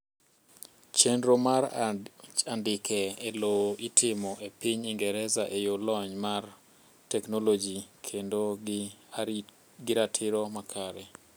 chenro mar andika e lowo itimo e piny ingereza eyoo lony mar teknoloji kendo gi ratiro makare